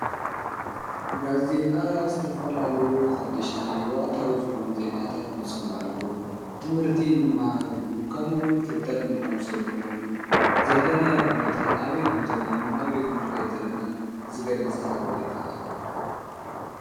ጋዜጣ ዝተፋላለዩ ሓድሽቲ ወቕታዊ ዝኾኑ ዘናታት ንሰምዐሉ ትምህርቲ እንመሃረሉ ከምኡውን ፍልጠት እንተቐምሰሉ ኾይኑ ዘለነይ ኹነታት ኣበይ ከም ዘለናን ናበይ ከም ልከይት ዘለናን ዝገሊጽ ሓበሬታ እዩ::